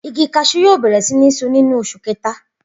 Igi kasú yóò bèrè sí ní so nínú osù kéta